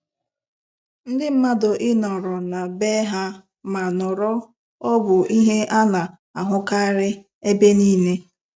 Ndị mmadụ ị nọrọ na bee ha ma nọrọ ọ bụ ihe ana-ahụkarị ebe niile.